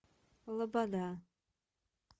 лобода